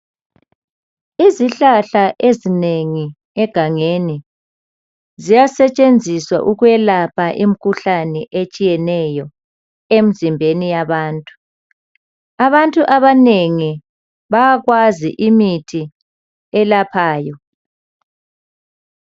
Izihlahla ezinengi egangeni ziyasetshenziswa ukwelapha imikhuhlane etshiyeneyo emzimbeni yabantu abantu abanengi bayakwazi imithi elaphayo